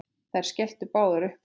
Þær skelltu báðar upp úr.